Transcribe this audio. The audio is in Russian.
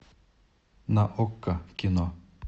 на окко кино